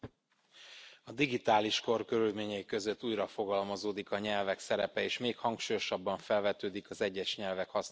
A digitális kor körülményei között újrafogalmazódik a nyelvek szerepe, és még hangsúlyosabban felvetődik az egyes nyelvek hasznossága.